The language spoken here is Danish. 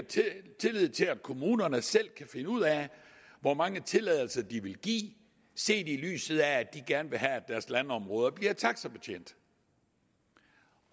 tillid til at kommunerne selv kan finde ud af hvor mange tilladelser de vil give set i lyset af at de gerne have at deres landområder bliver taxibetjent